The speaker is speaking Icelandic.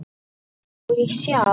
Má ég sjá?